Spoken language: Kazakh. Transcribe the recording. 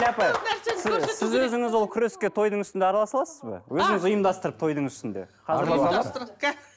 сіз өзіңіз ол күреске тойдың үстінде араласа аласыз ба ұйымдастырып тойдың үстінде